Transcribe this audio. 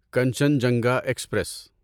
Kanchenjunga express